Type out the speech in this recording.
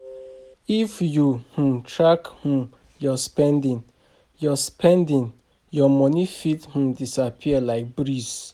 If you no um track um your spending, your your spending, your money fit um disappear like breeze.